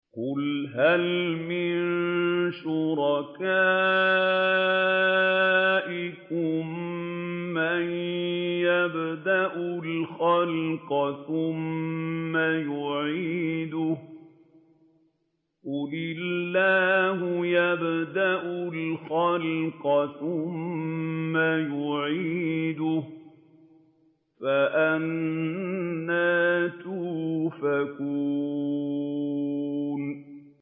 قُلْ هَلْ مِن شُرَكَائِكُم مَّن يَبْدَأُ الْخَلْقَ ثُمَّ يُعِيدُهُ ۚ قُلِ اللَّهُ يَبْدَأُ الْخَلْقَ ثُمَّ يُعِيدُهُ ۖ فَأَنَّىٰ تُؤْفَكُونَ